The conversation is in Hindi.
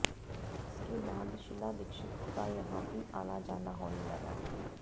इसके बाद शीला दीक्षित का यहां भी आना जाना होने लगा